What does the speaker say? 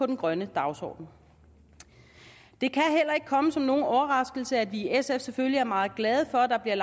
den grønne dagsorden det kan heller ikke komme som nogen overraskelse at vi i sf selvfølgelig er meget glade for at der bliver